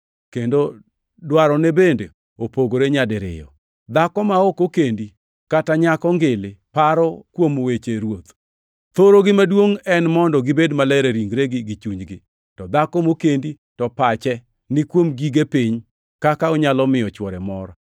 Kendo dwarone bende opogore nyadiriyo. Dhako ma ok okendi, kata nyako ngili, paro kuom weche Ruoth. Thorogi maduongʼ en mondo gibed maler e ringregi gi chunygi. To dhako mokendi, to pache ni kuom gige piny, kaka onyalo miyo chwore mor.